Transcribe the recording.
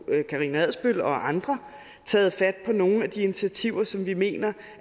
karina adsbøl og andre taget fat på nogle af de initiativer som vi mener